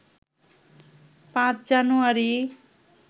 ৫ জানুয়ারি